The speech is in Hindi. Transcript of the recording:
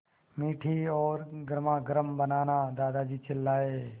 मीठी और गर्मागर्म बनाना दादाजी चिल्लाए